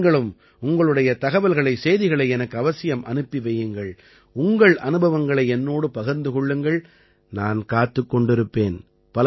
நீங்களும் உங்களுடைய தகவல்களைசெய்திகளை எனக்கு அவசியம் அனுப்பி வையுங்கள் உங்கள் அனுபவங்களை என்னோடு பகிர்ந்து கொள்ளுங்கள் நான் காத்துக் கொண்டிருப்பேன்